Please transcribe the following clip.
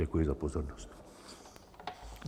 Děkuji za pozornost.